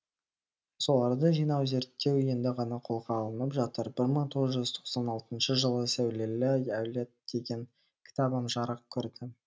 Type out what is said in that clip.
соларды жинау зерттеу енді ғана қолға алынып жатыр бір мың тоғыз жүз тоқсан алтыншы жылы сәулелі әулет деген кітабым жарық көрді